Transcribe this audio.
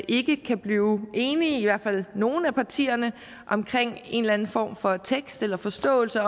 ikke kan blive enige i hvert fald nogle af partierne om en eller anden form for tekst eller forståelse